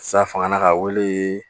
Sa fanga ka wele